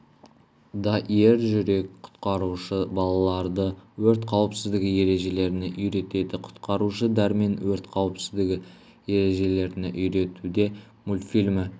да ержүрек құтқарушы балаларды өрт қауіпсіздігі ережелеріне үйретеді құтқарушы дәрмен өрт қауіпсіздігі ережелеріне үйретуде мультфильмі